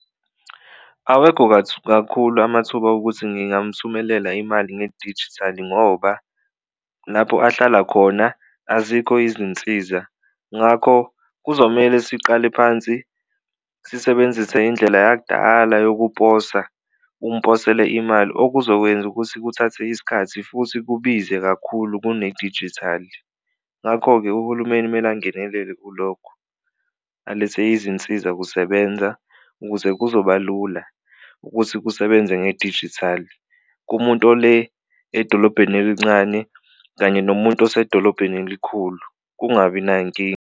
Awekho kakhulu amathuba okuthi ngingamuthumela imali ngedijithali ngoba lapho ahlala khona azikho izinsiza ngakho kuzomele siqale phansi sisebenzise indlela yakudala yokuposa, umposele imali okuzokwenza ukuthi kuthathe isikhathi futhi kubize kakhulu kunedijithali. Ngakho-ke uhulumeni kumele angenelele kulokho, alethe izinsizakusebenza ukuze kuzoba lula ukuthi kusebenze ngedijithali kumuntu ole edolobheni elincane kanye nomuntu osedolobheni elikhulu kungabi nankinga.